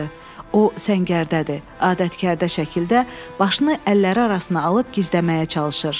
O səngərdədir, adətkərdə şəkildə başını əlləri arasına alıb gizləməyə çalışır.